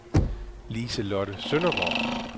Lise-Lotte Søndergaard